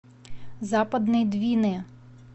западной двины